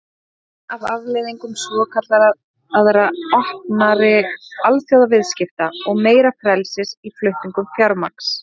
Það er ein af afleiðingum svokallaðra opnari alþjóðaviðskipta og meira frelsis í flutningum fjármagns.